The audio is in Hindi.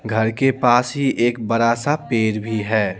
घर के पास ही एक बड़ा सा पेड़ भी है।